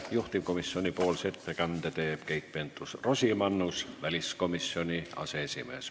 Juhtivkomisjoni ettekande teeb Keit Pentus-Rosimannus, väliskomisjoni aseesimees.